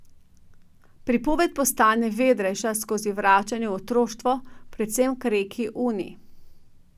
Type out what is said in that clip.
Pripoved postane vedrejša skozi vračanje v otroštvo, predvsem k reki Uni.